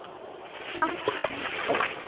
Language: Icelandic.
Samt djúp.